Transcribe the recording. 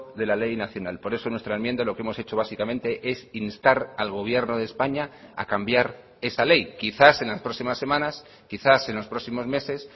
de la ley nacional por eso nuestra enmienda lo que hemos hecho básicamente es instar al gobierno de españa a cambiar esa ley quizás en las próximas semanas quizás en los próximos meses